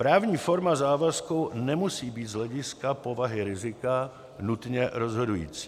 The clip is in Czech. Právní forma závazku nemusí být z hlediska povahy rizika nutně rozhodující.